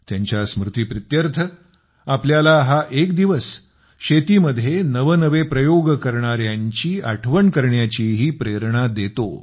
त्यांच्या स्मृतीप्रीत्यर्थ आपल्याला हा एक दिवस शेतीमध्ये नवनवे प्रयोग करणाऱ्यांची आठवण करण्याचीही प्रेरणा देतो